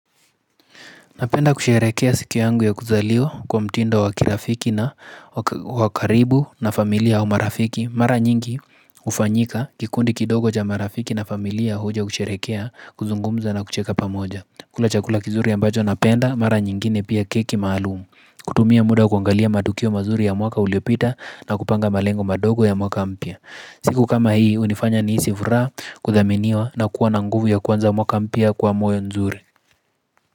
Napenda kusherekea siku yangu ya kuzaliwa kwa mtindo wakirafiki na wakaribu na familia au marafiki. Mara nyingi ufanyika kikundi kidogo ja marafiki na familia huja kusherekea kuzungumza na kucheka pamoja. Kula chakula kizuri ambacho napenda, mara nyingine pia keki maalumu. Kutumia muda kuangalia madukio mazuri ya mwaka uliopita na kupanga malengo madogo ya mwaka mpya siku kama hii hunifanya nihisi vuraha kuthaminiwa na kuwa na nguvu ya kwanza mwaka mpya kwa moyo nzuri.